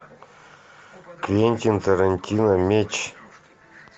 квентин тарантино меч